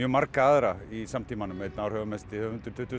marga aðra í samtímanum einn áhrifamesti höfundur tuttugustu